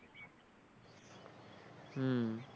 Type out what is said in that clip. হম